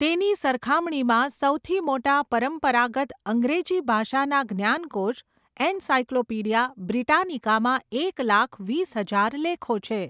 તેની સરખામણીમાં, સૌથી મોટા પરંપરાગત અંગ્રેજી ભાષાના જ્ઞાનકોશ, એનસાયક્લોપીડિયા બ્રિટાનિકામાં એક લાખ વીસ હજાર લેખો છે.